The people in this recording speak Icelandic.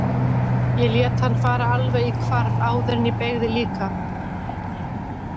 Ég lét hann fara alveg í hvarf áður en ég beygði líka.